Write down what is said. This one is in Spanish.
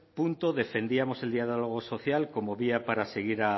punto defendíamos el diálogo social como vía para seguir